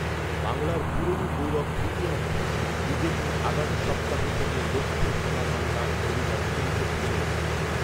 বাংলার পুরনো গৌরব ফিরিয়ে আনতে বিজেপি আগামী সপ্তাহ থেকে 'লক্ষ্য সোনার বাংলা ' অভিযান শুরু করতে চলেছে।